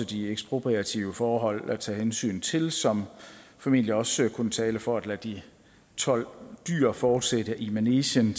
de ekspropriative forhold at tage hensyn til som formentlig også kunne tale for at lade de tolv dyr fortsætte i manegen